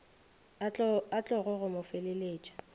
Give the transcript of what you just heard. a tlogo go mo feleletša